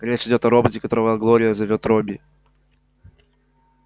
речь идёт о роботе которого глория зовёт робби